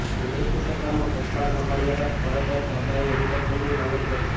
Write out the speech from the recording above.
કોંગ્રેસની સરકારમાં પદભાર સંભાળ્યા બાદ તરત જ બાબાએ હેલિકોપ્ટરની માગણી કરી છે